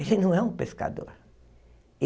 Ele não é um pescador.